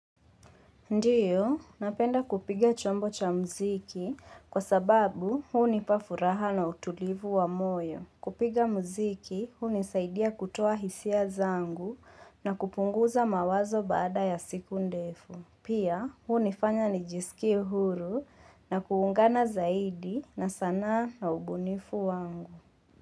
Ndiyo, napenda kupiga chombo cha mziki kwa sababu huu nipafuraha na utulivu wa moyo. Kupiga mziki huu nisaidia kutoa hisia zangu na kupunguza mawazo baada ya siku ndefu. Pia huu nifanya nijiskie huru na kuungana zaidi na sanaa na ubunifu wangu.